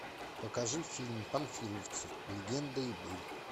покажи фильм панфиловцы легенда и быль